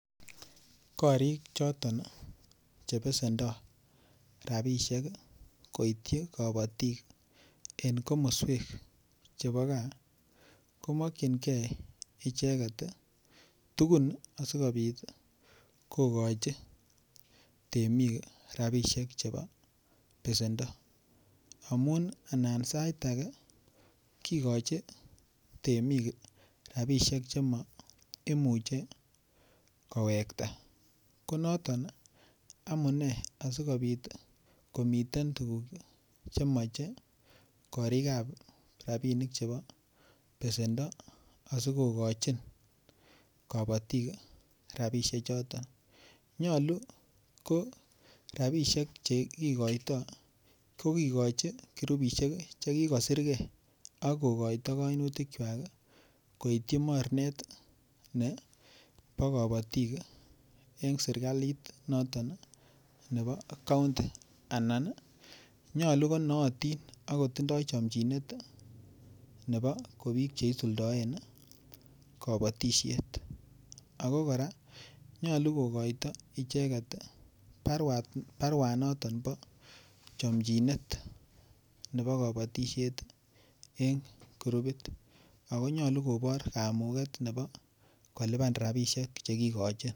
Korik choton Che besendo rabisiek koityi kabatik en komoswek chebo gaa ko mokyingei icheget tugun asikobit kogochi temik rabisiek chebo besendo amun anan sait age kigochi temik rabisiek Che ma Imuche kowekta ko noton asikobit komiten tuguk Che moche korikab besendo asi kogochin kabatik rabisiek choton nyolu ko rabisiek Che kigoito kigochi kirupisiek Che kigosir ge ak kokoito kainutikwak koityi mornet nebo kabatik en serkalit nebo kaunti anan nyolu ko nootin ak kotindoi chomjinet nebo ko Biik Che isuldoen kabatisiet ago kora nyolu kogoito icheget barua noton bo chomjinet nebo kabatisiet ko kirupit ak konyolu kobor kamuget nebo kolipan rabisiek Che kigochin